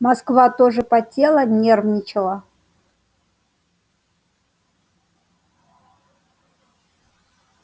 москва тоже потела нервничала